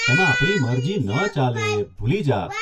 એમાં આપણી મરજી ન ચાલે ભૂલી જા.